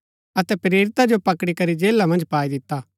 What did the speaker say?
अतै प्रेरिता जो पकड़ी करी जेला मन्ज पाई दिता